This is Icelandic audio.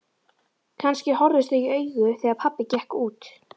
Kannski horfðust þau í augu þegar pabbi gekk út.